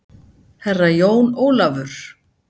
Herra Jón Ólafur?